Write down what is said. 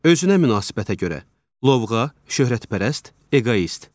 Özünə münasibətə görə: lovğa, şöhrətpərəst, eqoist.